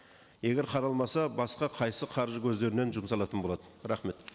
егер қаралмаса басқа қайсы қаржы көздерінен жұмсалатын болады рахмет